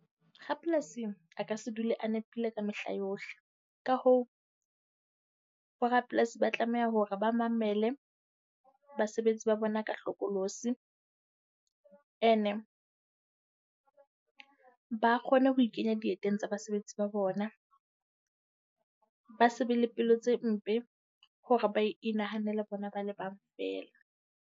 rapolasing a ka se dule a nepile ka mehla yohle. Ka hoo borapolasi ba tlameha hore ba mamele basebetsi ba bona ka hlokolosi. Ene ba kgone ho ikenya dieteng tsa basebetsi ba bona. Ba se be le pelo tse mpe hore ba inahanele bona ba le bang feela.